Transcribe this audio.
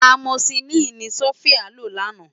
Ámósilini ni Sofia ló làná